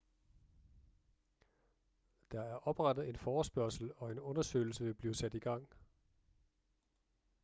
der er oprettet en forespørgsel og en undersøgelse vil blive sat i gang